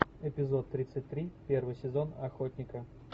эпизод тридцать три первый сезон охотника